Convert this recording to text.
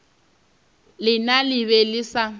lena le be le sa